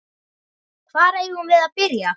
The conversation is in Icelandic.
Hvar eigum við að byrja?